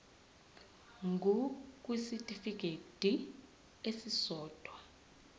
ngur kwisitifikedi esisodwa